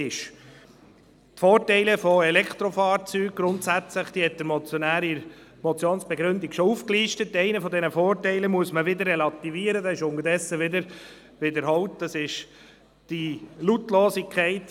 Bei der vorliegenden Motion folgt die SVP-Fraktion mehrheitlich der Antwort des Regierungsrates.